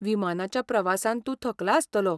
विमानाच्या प्रवासान तूं थकला आसतलो .